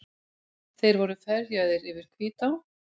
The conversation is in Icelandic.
Þeir voru ferjaðir yfir Hvítá.